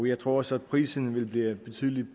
jeg tror også at prisen vil blive betydelig